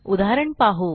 उदाहरण पाहू